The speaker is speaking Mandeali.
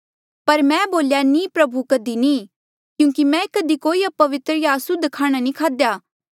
पर मैं बोल्या नीं प्रभु कधी नी क्यूंकि मैं कधी कोई अपवित्र या असुद्ध खाणा नी खाध्या